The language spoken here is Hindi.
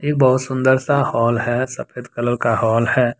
बहुत सुंदर सा हॉल है। सफेद कलर का हॉल है।